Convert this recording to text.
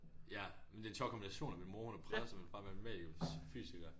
Ja men det en sjov kombination at min hun er præst og min er er matematiker fysiker